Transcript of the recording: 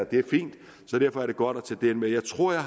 det er fint derfor er det godt at tage det med jeg tror jeg